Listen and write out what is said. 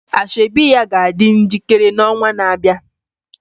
Asoebi ya ga-adị njikere n'ọnwa na-abịa